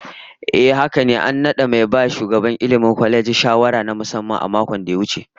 Ehh haka ne, an nada mai ba shugaban kwalejin Ilmi shawara na musamman a makon da ya wuce